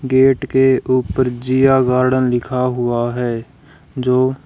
gate के ऊपर Jiya garden लिखा हुआ है जो--